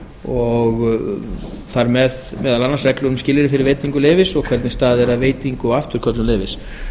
og þar með meðal annars reglu um skilyrði fyrir veitingu leyfis og hvernig staðið er að veitingu og afturköllun leyfis